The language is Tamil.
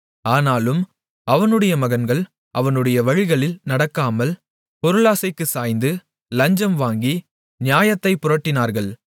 ஆனாலும் அவனுடைய மகன்கள் அவனுடைய வழிகளில் நடக்காமல் பொருளாசைக்குச் சாய்ந்து லஞ்சம் வாங்கி நியாயத்தைப் புரட்டினார்கள்